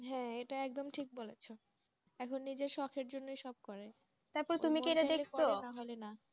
হ্যাঁ এতো তুমি ঠিক বলেছো এখন যে সকের জন্য সব করে তারপর তুমি কি এটা দেখছো